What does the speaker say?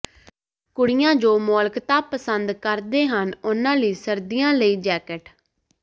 ਕੁੜੀਆਂ ਜੋ ਮੌਲਿਕਤਾ ਪਸੰਦ ਕਰਦੇ ਹਨ ਉਨ੍ਹਾਂ ਲਈ ਸਰਦੀਆਂ ਲਈ ਜੈਕਟ